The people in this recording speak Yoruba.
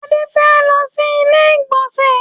Adé fẹ́ lọ sí ilé ìgbọ̀nsẹ̀.